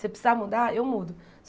Se eu precisar mudar, eu mudo.